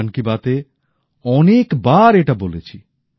আমি মন কি বাত এ অনেকবার এটা বলেছি